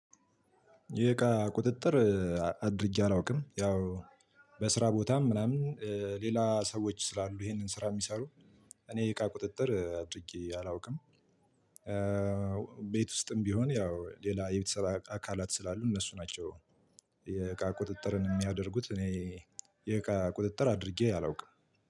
የእቃ ቁጥጥር አድርጌ አላውቅም ያው በስራ ቦታም ምናምን ሌላ ሰዎች ስላሉ ይሄንን ስራ ሚሰሩ እኔ እቃ ቁጥጥር አድርጌ አላውቅም። ቤት ውስጥም ቢሆን ያው ሌላ የቤተሰብ አካላት ስላሉ እነሱ ናቸው። የቃ ቁጥጥርን ሚያደርጉት እኔ የእቃ ቁጥጥር አድርጌ አላውቅም።